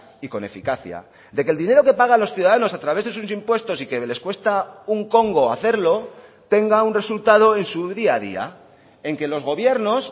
y con eficacia de que el dinero que paga los ciudadanos a través de sus impuestos y que les cuesta un congo hacerlo tenga un resultado en su día a día en que los gobiernos